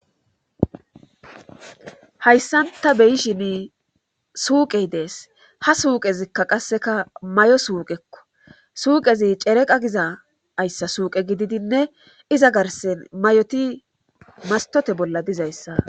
Hayssan ta bey7shini suuqey dees ha suuqezikka qasseka may7o suuqekko suuqezi cereqa giza ayssa suuqe gididinne iza garsen mayoti mastote bolla dizayssa